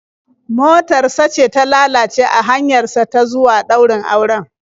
Motar sa ce ta lalace a hanyar sa ta zuwa ɗaurin auren.